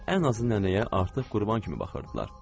Ən azı nənəyə artıq qurban kimi baxırdılar.